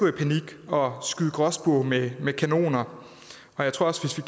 i panik og skyde gråspurve med med kanoner jeg tror også